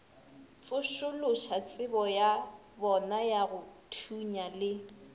tsošološatsebo ya bonayago thunya le